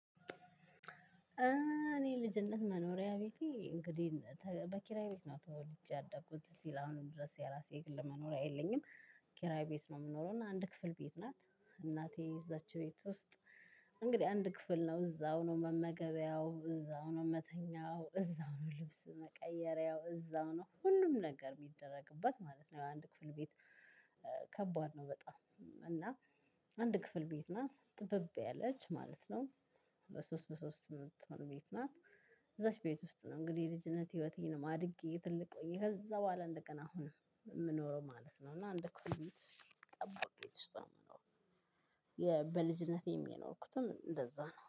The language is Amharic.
እኔ ልጅነት መኖሪያ ቤቴ እንግዲህ በኪራይ ቤት ነው ተወልጄ ያደጉት ሲል አሁንም ድረስ የራሴ የግል መኖሪያ የለኝም። ኪራይ ቤት ነው የምኖረው እና አንድ ክፍል ቤት ናት። እናቴ እዛች ቤት ውስጥ። እንግዲህ አንድ ክፍል ነው እዛው ነው መመገቢያው እዛው ነው መተኛው እዛው ነው ልብስ መቀየሪያው እዛው ነው ሁሉም ነገር የሚደረግበት ማለት ነው። አንድ ክፍል ቤት። ከባድ ነው በጣም እና። አንድ ክፍል ቤት ናት ጠበብ ያለች ማለት ነው። በሶስት በሶስት የምትሆን ቤት ናት። እዛች ቤት ውስጥ ነው እንግዲህ የልጅነት ህይወቴ አድጌ። ከዛ በኋላ የምኖረው ማለት ነው እና። በልጅነቴ የኖርኩትም እንደዛ ነው